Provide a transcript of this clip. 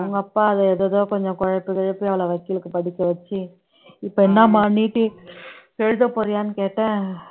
அவங்க அப்பா அது ஏதேதோ கொஞ்சம் குழப்பி குழப்பி அவளை வக்கீலுக்கு படிக்க வச்சு இப்ப என்னம்மா எழுதப் போறியான்னு கேட்டேன்